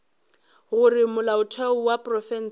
gore molaotheo wa profense o